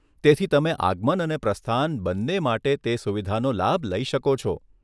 તેથી તમે આગમન અને પ્રસ્થાન બંને માટે તે સુવિધાનો લાભ લઈ શકો છો.